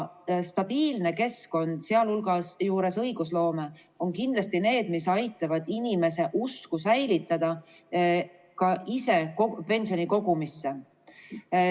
Stabiilne keskkond, sh õigusloome, on kindlasti see, mis aitab säilitada inimese usku ka ise pensioni kogumisse.